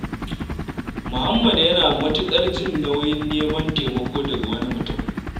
Muhammad yana matuƙar jin nauyin neman taimako daga wani mutum.